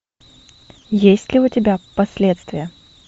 есть ли у тебя последствия